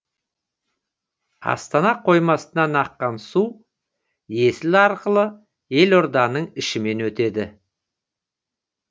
астана қоймасынан аққан су есіл арқылы елорданың ішімен өтеді